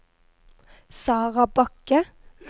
Sarah Bakke